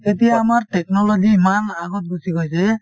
এতিয়া আমাৰ technology ইমান আগত গুচি গৈছে,